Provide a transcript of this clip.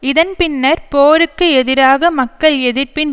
இதன் பின்னர் போருக்கு எதிராக மக்கள் எதிர்ப்பின்